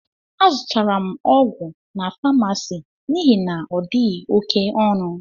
Azutara m ọgwụ n' pamasist n'ihi na odighi oké ọnụ.